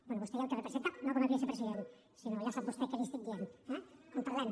bé vostè i el que representa no com a vicepresident sinó que ja sap vostè què li estic dient eh en parlem